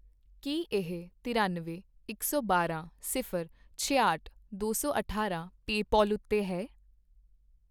ਕੀ ਇਹ ਤਰਿਅਨਵੇਂ, ਇਕ ਸੌ ਬਾਰਾਂ, ਸਿਫ਼ਰ, ਛਿਆਹਠ, ਦੋ ਸੌ ਅਠਾਰਾਂ ਪੇਪਾਲ ਉੱਤੇ ਹੈ ?